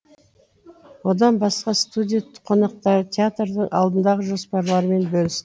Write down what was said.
одан басқа студия қонақтары театрдың алдындағы жоспарларымен бөліс